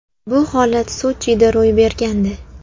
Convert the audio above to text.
Bu holat Sochida ro‘y bergandi.